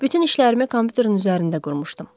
Bütün işlərimi kompyuterin üzərində qurmuşdum.